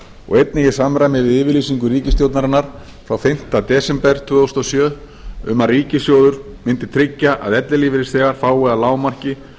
og einnig í samræmi við yfirlýsingu ríkisstjórnarinnar frá fimmta desember tvö þúsund og sjö um að ríkissjóður myndi tryggja að ellilífeyrisþegar fái að lágmarki